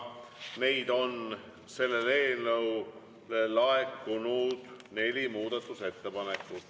Neid on selle eelnõu kohta laekunud neli.